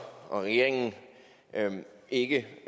og regeringen ikke